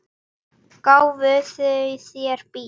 Gáfu þau þér bíl?